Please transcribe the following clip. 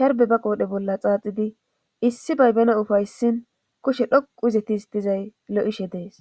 sharbe ba qoodhe bolla xaaxidi issi baybena ufayssin kushe dhoqu izetis dizay lo7ishe dees